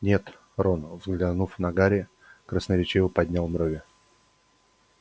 нет рон взглянув на гарри красноречиво поднял брови